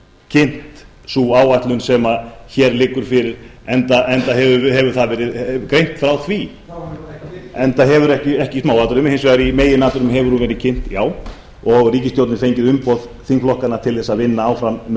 kynnt sú áætlun sem hér liggur fyrir enda hefur verið greint frá því ekki í smáatriðum hins vegar í meginatriðum hefur hún verið kynnt já og ríkisstjórnin fengið umboð þingflokkanna til þess að vinna áfram með